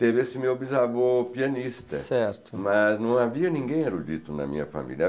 Teve esse meu bisavô pianista. Certo. Mas não havia ninguém erudito na minha família.